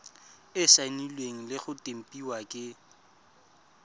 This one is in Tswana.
saenilwe le go tempiwa ke